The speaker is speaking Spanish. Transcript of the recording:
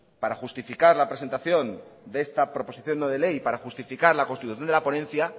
para justificar la presentación de esta proposición no de ley para justificar la constitución de la ponencia